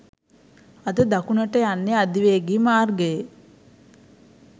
අද දකුණට යන්නේ අධිවේගී මාර්ගයේ